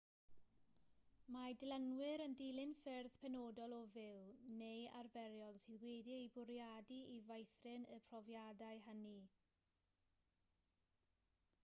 mae dilynwyr yn dilyn ffyrdd penodol o fyw neu arferion sydd wedi'u bwriadu i feithrin y profiadau hynny